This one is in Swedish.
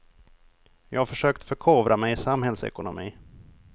Jag har försökt förkovra mig i samhällsekonomi.